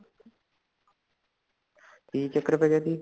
ਕੀ ਚੱਕਰ ਪੈ ਗਯਾ ਸੀ